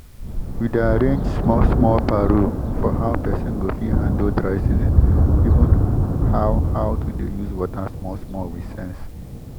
we dey arrange small small paro for how pesin go fit handle dry season even how how to dey use water small small with sense